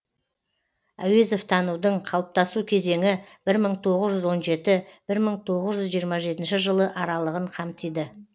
әуезовтанудың қалыптасу кезеңі бір мың тоғыз жүз он жеті бір мың тоғыз жүз жиырма жетінші жылы аралығын қамтиды